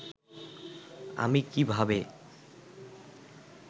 আমি কি ভাবে